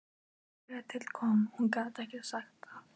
Þegar til kom,- hún gat ekki sagt það.